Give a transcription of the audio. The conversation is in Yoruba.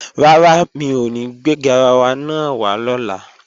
Rárá, mi ò ní gbé garawa náà wá lọ́la